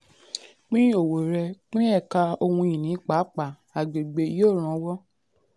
"pín owó rẹ; pín ẹ̀ka ohun-ìní pàápàá agbègbè yóò ranwọ́."